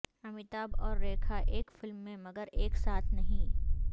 امیتابھ اور ریکھا ایک فلم میں مگر ایک ساتھ نہیں